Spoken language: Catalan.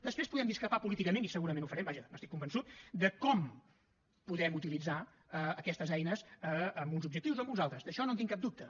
després podem discrepar políticament i segurament ho farem vaja n’estic convençut de com podem utilitzar aquestes eines amb uns objectius o amb uns altres d’això no en tinc cap dubte